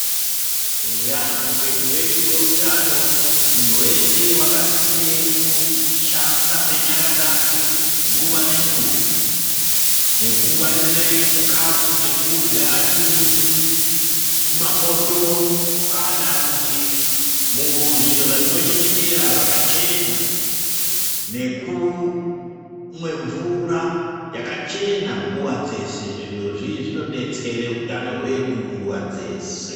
Eya muupenyu hwedu hweutano munhu wese wakasisire kusambe nyara dzake nguva nenguva nekungwarire chikafu chekurya chiri muzvi mumapoto kana kuti muzviro zvatinochengetera zvakachena nekumwe mvura yakachena nguva dzese. zvirozvi zvinodetsere utano hwedu nguva dzese.